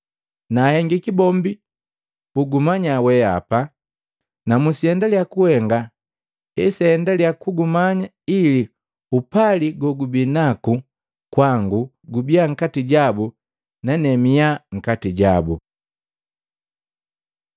Naatei bombi akumanya weapa na musiendaliya kuhenga aendalia kugumanya ili upali gogubinaku kwangu gubiya nkati jabu nane miya nkati jabu.”